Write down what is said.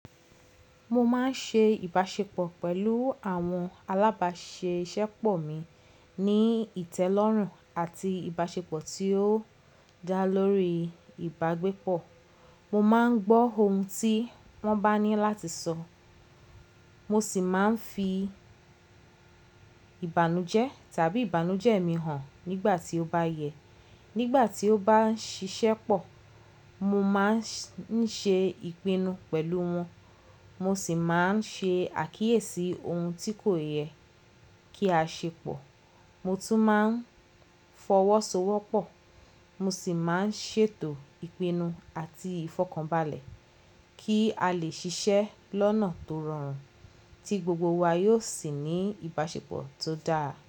Mo máa ń ṣe ìbáṣepọ̀ pẹ̀lú àwọn alábáṣeṣépọ̀ mi ní ìtẹ́lọ́rùn àti ìbáṣepọ̀ tí ó dá lórí ìbágbépọ̀. Mo máa ń gbọ́ ohun tí wọ́n bá ní láti sọ, mo sì máa ń fi ìbànújẹ́ tàbí ìbànújẹ́ mi hàn nígbà tí ó bá yẹ. Nígbà tí ó bá ń ṣiṣẹ́ pọ̀, mo máa ń ṣe ìpinnu pẹ̀lú wọn, mo sì máa ń ṣe àkíyèsí ohun tí kò yẹ kí a ṣe pọ̀. Mo tún máa ń fọwọ́sowọ́pọ̀, mo sì máa ń ṣètò ìpinnu àti ìfọ̀kànbalẹ̀ kí a lè ṣiṣẹ́ lọ́nà tó rọrùn tí gbogbo wa yóò sì ní ìbáṣepọ̀ tó dáa.